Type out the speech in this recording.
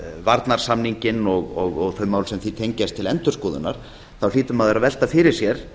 varnarsamninginn og þau mál sem því tengjast til endurskoðunar þá hlýtur maður að velta fyrir sér